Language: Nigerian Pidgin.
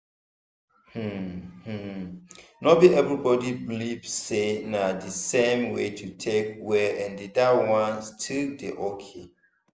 hmm hmm no be everybody believe sey na the same way to take well and dat one still dey okay.